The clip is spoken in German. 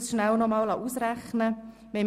Ich habe es schnell ausrechnen lassen.